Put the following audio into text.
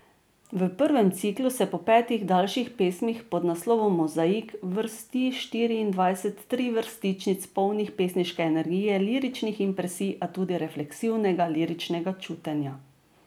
V prvem ciklu se po petih daljših pesmih pod naslovom Mozaik, vrsti štiriindvajset trivrstičnic, polnih pesniške energije, liričnih impresij, a tudi refleksivnega liričnega čutenja.